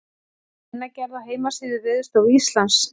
Greinargerð á heimasíðu Veðurstofu Íslands.